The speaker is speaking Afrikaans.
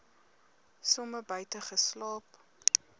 somer buite geslaap